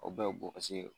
O bɛɛ bɛ bo paseke